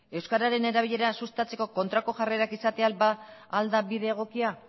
euskararen erabilera sustatzeko kontrako jarrerak izatea ba al da bide egokia